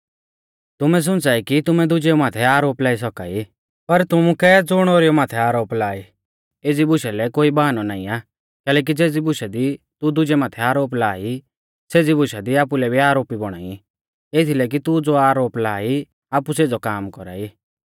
तुमै सुंच़ाई कि तुमै दुजेऊ माथै आरोप लाई सौका ई पर तुमुकै ज़ुण ओरीऊ माथै आरोप लाआ ई एज़ी बुशा लै कोई बाहनौ नाईं आ कैलैकि ज़ेज़ी बुशा दी तू दुजै माथै आरोप ला ई सेज़ी बुशा दी आपुलै भी आरोपी बौणा ई एथीलै कि तू ज़ो आरोप ला ई आपु सेज़ौ काम कौरा ई